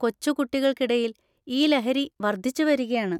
കൊച്ചുകുട്ടികൾക്കിടയിൽ ഈ ലഹരി വർധിച്ചുവരികയാണ്.